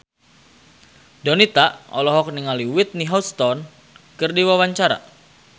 Donita olohok ningali Whitney Houston keur diwawancara